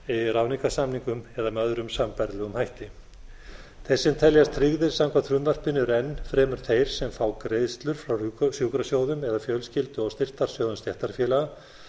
ráðningarsamningum eða með öðrum sambærilegum hætti þeir sem teljast tryggðir samkvæmt frumvarpinu eru enn fremur þeir sem fá greiðslur frá sjúkrasjóðum eða fjölskyldu og styrktarsjóðum stéttarfélaga